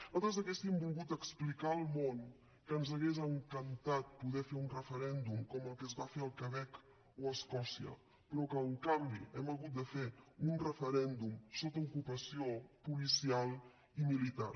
nosaltres hauríem volgut explicar al món que ens hagués encantat poder fer un referèndum com el que es va fer al quebec o a escòcia però que en canvi hem hagut de fer un referèndum sota ocupació policial i militar